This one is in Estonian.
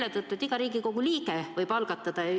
Seetõttu, et iga Riigikogu liige võib algatada.